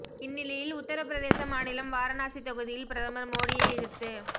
இந்நிலையில் உத்தர பிரதேச மாநிலம் வாரணாசி தொகுதியில் பிரதமர் மோடியை எதிர்த்து